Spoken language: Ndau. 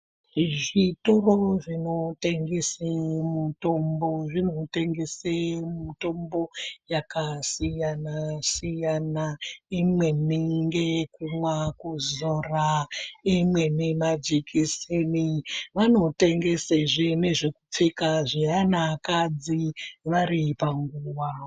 Zvitoro zvinotengeswa mitombo zvinotengeserwa mitombo yakasiyana siyana imweni ndeye kumwa kuzora imweni majekiseni vaotengeswa zvenekupfeka